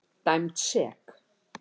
Dæmd sek.